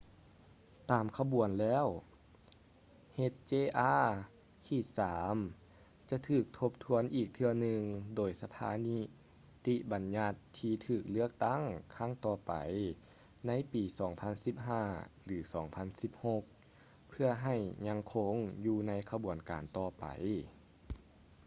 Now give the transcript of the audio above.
ຕາມຂະບວນແລ້ວ hjr-3 ຈະຖືກທົບທວນອີກເທື່ອໜຶ່ງໂດຍສະພານິຕິບັນຍັດທີ່ຖືກເລືອກຕັ້ງຄັ້ງຕໍ່ໄປໃນປີ 2015 ຫຼື 2016 ເພື່ອໃຫ້ຍັງຄົງຢູ່ໃນຂະບວນການຕໍ່ໄປ